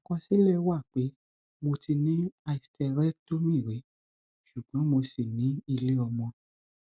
àkọsílẹ wá pé mo ti ní hysterectomy rí ṣùgbọn mo ṣì ní iléọmọ